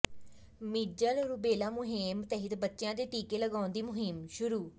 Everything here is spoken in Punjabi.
ਮੀਜ਼ਲ ਰੂਬੇਲਾ ਮੁਹਿੰਮ ਤਹਿਤ ਬੱਚਿਆਂ ਦੇ ਟੀਕੇ ਲਗਾਉਣ ਦੀ ਮੁਹਿੰਮ ਸ਼ੁਰੂ